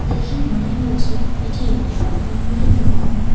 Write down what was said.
দেখে মনে হচ্ছে এটি একটা কাপড়ের দোকান।